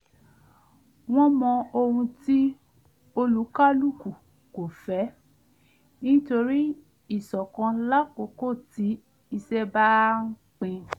wọ́n mọ ohun tí olúkálùkò kò fẹ́ nítorí íṣọ̀kan lákókò tí iṣẹ́ bá ń pin